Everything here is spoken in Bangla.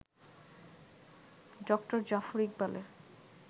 ড. জাফর ইকবালের